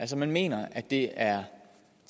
man mener at det er